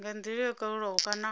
nga ndila yo kalulaho kana